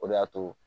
O de y'a to